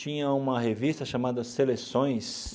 Tinha uma revista chamada Seleções.